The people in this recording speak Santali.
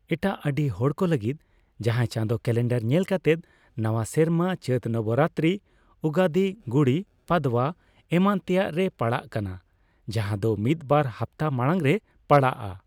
ᱮᱴᱟᱜ ᱟᱹᱰᱤ ᱦᱚᱲ ᱠᱚ ᱞᱟᱹᱜᱤᱫ ᱡᱟᱦᱟᱸᱭ ᱪᱟᱸᱫᱳ ᱠᱮᱞᱮᱱᱰᱟᱨ ᱧᱮᱞ ᱠᱟᱛᱮᱫ, ᱱᱟᱣᱟ ᱥᱮᱨᱢᱟ ᱪᱟᱹᱛ ᱱᱚᱵᱚᱨᱟᱛᱨᱤ, ᱩᱜᱟᱫᱤ, ᱜᱩᱲᱤ ᱯᱟᱫᱽᱣᱟ ᱮᱢᱟᱱ ᱛᱮᱭᱟᱜ ᱨᱮ ᱯᱟᱲᱟᱜ ᱠᱟᱱᱟ, ᱡᱟᱦᱟᱸᱫᱚ ᱢᱤᱫ ᱵᱟᱨ ᱦᱟᱯᱛᱟ ᱢᱟᱲᱟᱝ ᱨᱮ ᱯᱟᱲᱟᱜᱼᱟ ᱾